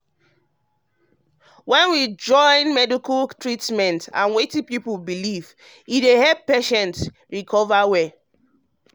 when we join medical treatment and wetin people wetin people believe e dey help patients recover well.